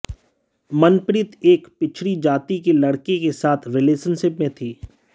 मनप्रीत एक पिछड़ी जाति के लड़के के साथ रिलेशनशिप में थी